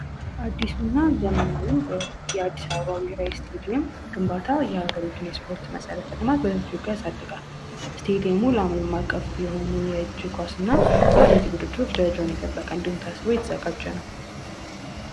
አዲሱና ዘመናዊው የአዲስ አበባ ብሔረሰብ ስቴዲየም ግንባታ የሀገሪቱን የስፖርት መሰረተ ልማት በጅጉ ያሳድጋል። ስቴዲየሙ ለአለም ማዕቀፍ የሆኑ የእጅ ኳስና የአትሌትክ ውድድሮች ደረጃውን የጠበቀ እንዲሆን ታስቦ የተዘጋጀ ነው።